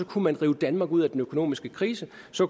kunne man rive danmark ud af den økonomiske krise